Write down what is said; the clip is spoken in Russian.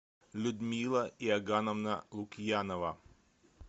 людмила иогановна лукьянова